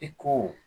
I ko